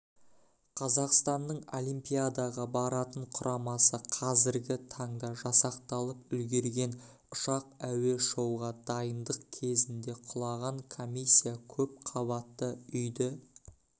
қазақстанның олимпиадаға баратын құрамасы қазіргі таңда жасақталып үлгерген ұшақ әуе-шоуға дайындық кезінге құлаған комиссия көпқабатты үйді